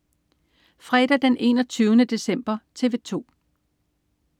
Fredag den 21. december - TV 2: